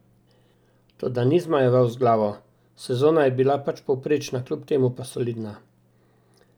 Toda ni zmajeval z glavo: "Sezona je bila pač povprečna, kljub temu pa solidna.